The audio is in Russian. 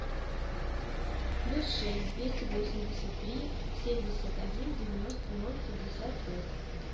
плюс шесть двести восемьдесят три семьдесят один девяносто ноль пятьдесят пять